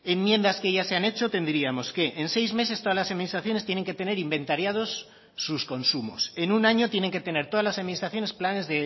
enmiendas que ya se han hecho tendríamos que en seis meses todas las administraciones tienen que tener inventariados sus consumos en un año tienen que tener todas las administraciones planes